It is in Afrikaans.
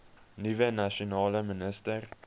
nuwe nasionale minister